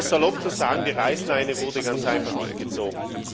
Um es salopp zu sagen Die Reißleine wurde ganz einfach nicht gezogen.